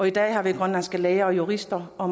i dag grønlandske læger og jurister og